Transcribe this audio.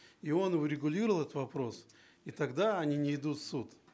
и он урегулировал этот вопрос и тогда они не идут в суд